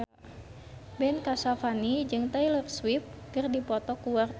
Ben Kasyafani jeung Taylor Swift keur dipoto ku wartawan